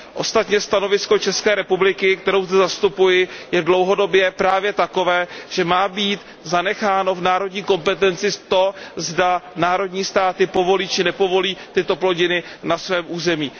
Ostatně stanovisko České republiky, kterou zde zastupuji, je dlouhodobě právě takové, že má být ponecháno v národní kompetenci to, zda národní státy povolí či nepovolí tyto plodiny na svém území.